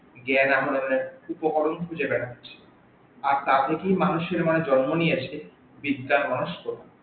জ্ঞান উপকরন খুজে বেরাচ্ছে আর তার থেকেই মানুষের মনে জন্ম নিয়ে এসেছে বিদ্যার রহস্য